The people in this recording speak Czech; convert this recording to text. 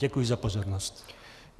Děkuji za pozornost.